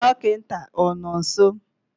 dọkịta ọ nọ nso?